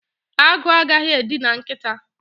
Agụ agaghị edina nkịta